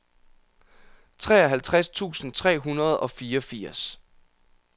treoghalvtreds tusind tre hundrede og fireogfirs